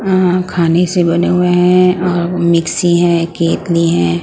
अह खाने से बने हुए हैं और मिक्सी है केतली है।